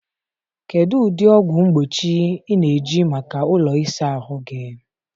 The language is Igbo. kedụ ụdị ọgwụ mgbochi ị na-eji maka ụlọ ịsa ahụ gị?